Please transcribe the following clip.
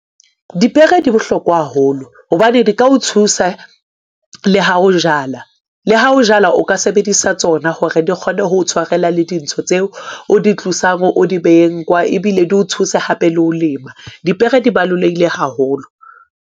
Dipere di bohlokwa haholo hobane di ka o thusa le ha o jala. Le ha o jala, o ka sebedisa tsona hore di kgone ho tshwarela le dintho tseo o di tlosang, o di beheng kwa, ebile di o thusa hape le ho lema. Dipere di baloleile haholo.